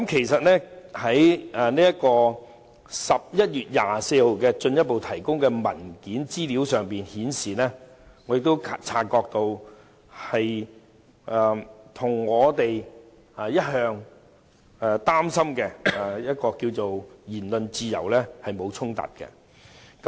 11月24日進一步提供的資料文件顯示，提交資料與我們一直關注的言論自由沒有衝突。